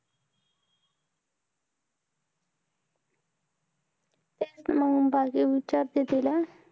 तेच मंग बाकी विचारते तिला.